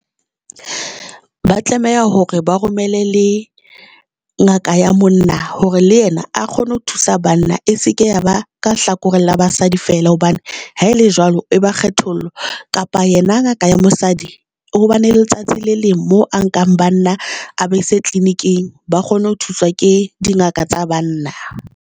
Ba tlameha hore ba romele le ngaka ya monna hore le yena a kgone ho thusa banna. E se ke ya ba ka hlakoreng la basadi fela hobane ha le jwalo, e ba kgethollo kapa yena ngaka ya mosadi hobane letsatsi le leng mo a nkang bana a be se tleliniking ba kgone ho thuswa ke dingaka tsa banna.